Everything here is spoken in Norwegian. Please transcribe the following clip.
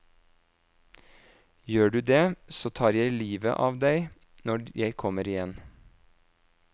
Gjør du det, så tar jeg livet av deg når jeg kommer igjen.